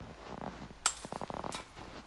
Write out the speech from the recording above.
салют включи видеотэйп радиохэд